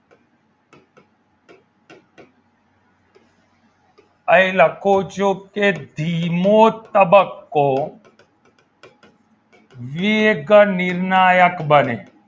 અહીં લખું છું કે ધીમો તબક્કો વેગ નિર્ણાયક બને